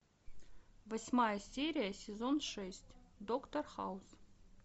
восьмая серия сезон шесть доктор хаус